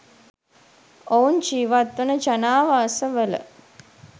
ඔවුන් ජිවත් වන ජනාවාස වල